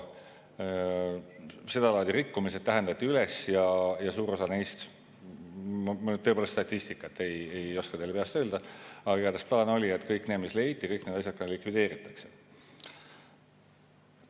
Sedalaadi rikkumised täheldati üles ja ma nüüd tõepoolest statistikat ei oska teile peast öelda, aga igatahes plaan oli, et kõik need, mis leiti, likvideeritakse.